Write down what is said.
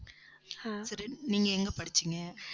சரி நீங்க எங்க படிச்சீங்க?